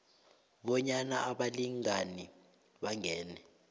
bonyana abalingani bangene